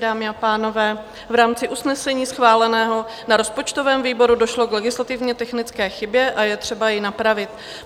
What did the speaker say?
Dámy a pánové, v rámci usnesení schváleného na rozpočtovém výboru došlo k legislativně technické chybě a je třeba ji napravit.